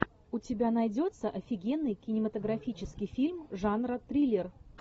у тебя найдется офигенный кинематографический фильм жанра триллер